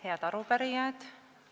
Head arupärijad!